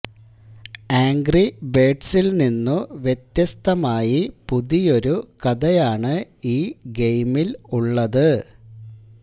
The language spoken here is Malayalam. ആംഗ്രി ബേഡ്സില് നിന്നു വ്യത്യസ്തമായി പുതിയൊരു കഥയാണ് ഈ ഗെയിമില് ഉള്ളത്